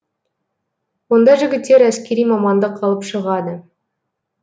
онда жігіттер әскери мамандық алып шығады